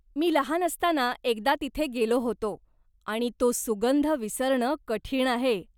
मी लहान असताना एकदा तिथे गेलो होतो आणि तो सुगंध विसरणं कठीण आहे.